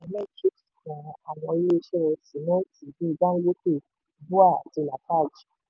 àwọn ilé iṣẹ́ sìmẹ́ntì bíi dangote bua àti lafarge.